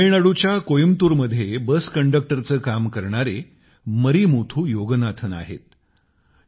जसे तामिळनाडूच्या कोईमतूरमध्ये बस कन्डक्टरचे काम करणारे मरिमुथु योगनाथन आहेत